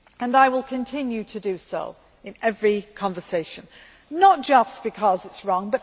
I will continue to do so in every conversation, not just because it is wrong.